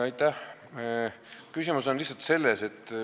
Aitäh!